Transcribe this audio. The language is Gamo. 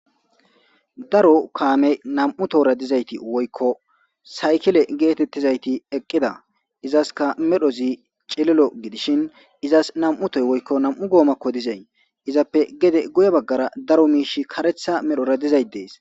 Daro kaame nam7u tora dizayti woykko saykile geetettizayti eqqida izaska medhozi cililo gidishin izas nam7utoy woykko nam7u goomakko dizay izappe gede guye baggara daro miish karetha medhora dizay dees.